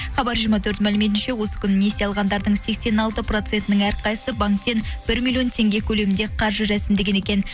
хабар жиырма төрт мәліметінше осы күні несие алғандардың сексен алты процентінің әрқайсысы банктен бір миллион теңге көлемінде қаржы рәсімдеген екен